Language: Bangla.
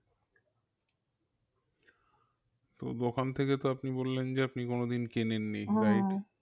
তো দোকান থেকে তো আপনি বললেন যে আপনি কোনোদিন কেনেননি